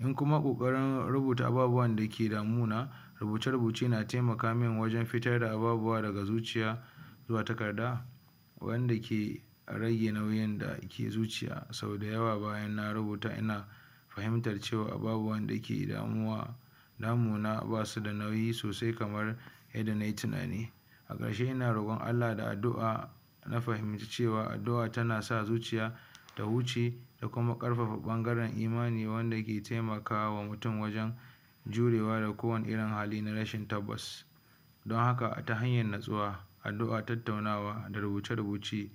in kuma ƙoƙarin ababen da ke damuna, rubuce-rubuce na taimaka man wajen fitar da ababuwa daga zuciya zuwa takarda wanda ke rage nau'in da ke zuciya sau da yawa bayan na rubuta ina fahimtartar cewa babu wanda yake damuna damuna ba su da nauyi sosai kamar yadda nai tunani a ƙarshe ina roƙon Allah da addu'a na fahinci cewa addu'a tana sa zuciya ta huce da kuma ƙarkfafa ɓangaren imani wanda yake taimaka wa mutum wajen jurewa da kowane irin hali na rashin tabbas don haka ta hanyar nutsuwa addu'a tattatunawa da rubuce-rubuce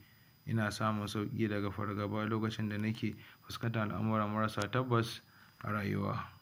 ina samun sauƙi daga fargaba lokacin da nike fuskantar abubuwa marar sa tabbas a rayuwa.